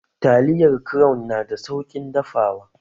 Taliyar crown nada sauƙin dafawa?